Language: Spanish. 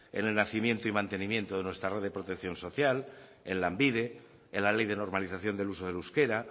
en el nacimiento y mantenimiento de nuestra red de protección social en lanbide en la ley de normalización del uso del euskera